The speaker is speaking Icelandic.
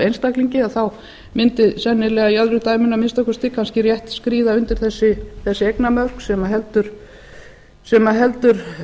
af einstaklingi þá mundi sennilega í öðru dæminu að minnsta kosti kannski rétt skríða undir þessi eignamörk sem heldur